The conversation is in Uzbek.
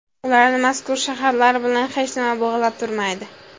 Ularni mazkur shaharlar bilan hech nima bog‘lab turmaydi.